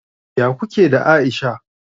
Ya kuke da Aisha?